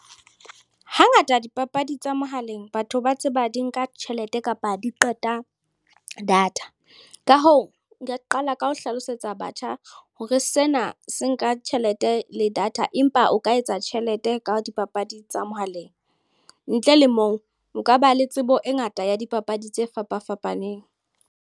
Hangata dipapadi tsa mohaleng batho ba tseba di nka tjhelete kapa di qeta data. Ka hoo, nka qala ka ho hlalosetsa batjha hore sena ha se nka tjhelete le data empa o ka etsa tjhelete ka dipapadi tsa mohaleng. Ntle le moo nka ba le tsebo e ngata ya dipapadi tse fapa-fapaneng.